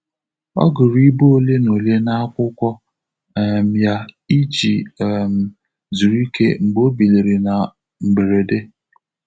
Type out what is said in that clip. Ọ gụrụ ibe ole na ole n’akwụkwọ um ya iji um zuru ike mgbe ọ biliri na um mberede.